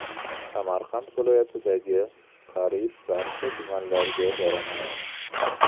Samarqand viloyatidagi qariyb barcha tumanlarga boraman.